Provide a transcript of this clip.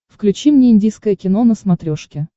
включи мне индийское кино на смотрешке